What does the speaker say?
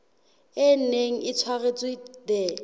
e neng e tshwaretswe the